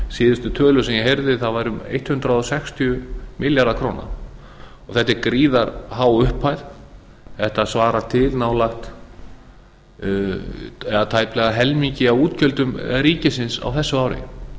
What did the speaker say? síðustu tölur sem ég heyrði var um hundrað sextíu milljarðar króna þetta er gríðarhá upphæð þetta svarar til nálega helmingi af útgjöldum ríkisins á þessu ári